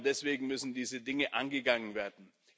Genau deswegen müssen diese Dinge angegangen werden.